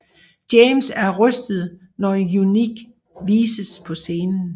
James er rystet når Unique vises på scenen